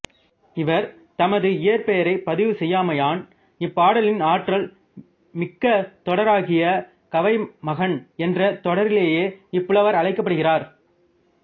இவர் தமது இயற்பெயரைப் பதிவு செய்யாமையான் இப்பாடலின் ஆற்றல் மிக்க தொடராகிய கவைமகன் என்ற தொடராலேயே இப்புலவர் அழைக்கப்படுகிறார்